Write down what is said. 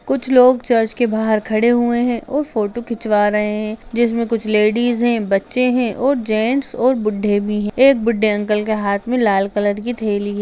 कुछ लोग चर्च के बाहर खड़े हुए हैं और फोटो खिंचवा रहे हैं जिसमें कुछ लेडिज है बच्चे हैं और जेंट्स और बुड्ढे भी है एक बुड्ढे अंकल के हाथ में लाल कलर की थैली --